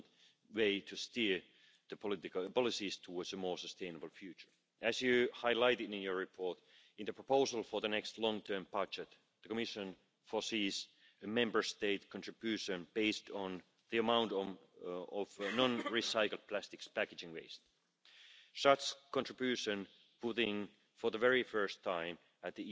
point out that there have already been some spin off developments. We found that addressing chemicals of concern in food packaging is not sufficient, because there is a risk of incidental contamination with substances that were not originally present in plastic materials but may